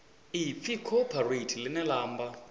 ipfi cooperate ḽine ḽa amba